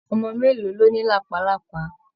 Ọmọ mélòó ló ní làpálàpá?